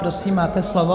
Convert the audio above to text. Prosím, máte slovo.